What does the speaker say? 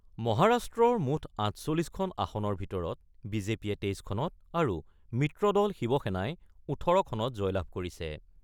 মহাৰাষ্ট্ৰৰ মুঠ ৪৮খন আসনৰ ভিতৰত বি জে পিয়ে ২৩খনত আৰু মিত্ৰদল শিৱসেনাই ১৮খনত জয়লাভ কৰিছে।